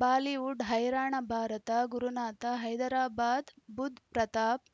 Bollywood ಹೈರಾಣ ಭಾರತ ಗುರುನಾಥ ಹೈದರಾಬಾದ್ ಬುಧ್ ಪ್ರತಾಪ್